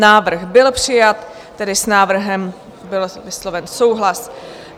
Návrh byl přijat, tedy s návrhem byl vysloven souhlas.